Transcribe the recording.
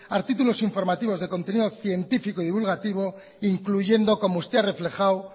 artículo informativos de contenido científico y divulgativo incluyendo como usted ha reflejado